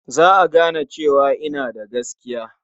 Za a gane cewa ina da gaskiya.